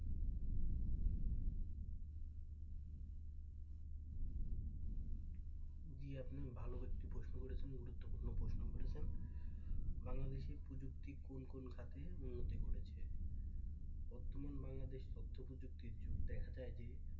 জি আপনি একটি ভালো প্রশ্ন করেছেন একটি গুরুত্বপূর্ণ প্রশ্ন করেছেন বাংলাদেশী প্রযুক্তি কোন কোন খাতে উন্নতি করেছে বর্তমান বাংলাদেশ তথ্য প্রযুক্তির যুগ দেখা যায় যে,